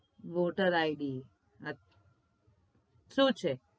whoter id સુ છે